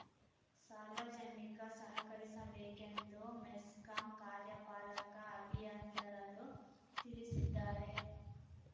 ಸಾರ್ವಜನಿಕ ಸಹಕರಿಸಬೇಕೆಂದು ಮೆಸ್ಕಾಂ ಕಾರ್ಯಪಾಲಕ ಅಭಿಯಂತರರು ತಿಳಿಸಿದ್ದಾರೆ